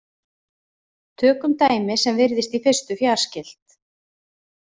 Tökum dæmi sem virðist í fyrstu fjarskylt.